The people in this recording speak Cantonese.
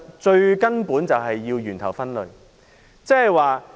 最根本的做法便是從源頭分類。